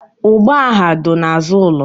Ụgbọ agha dọ n'azụ ụlọ.